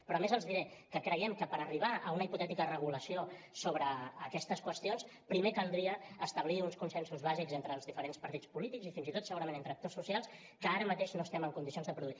però a més els diré que creiem que per arribar a una hipotètica regulació sobre aquestes qüestions primer caldria establir uns consensos bàsics entre els diferents partits polítics i fins i tot segurament entre actors socials que ara mateix no estem en condicions de produir